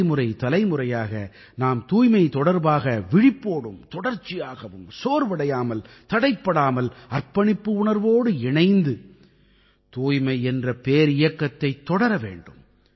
தலைமுறை தலைமுறையாக நாம் தூய்மை தொடர்பாக விழிப்போடும் தொடர்ச்சியாகவும் சோர்வடையாமல் தடைப்படாமல் அர்ப்பணிப்பு உணர்வோடு இணைந்து தூய்மை என்ற பேரியக்கத்தைத் தொடர வேண்டும்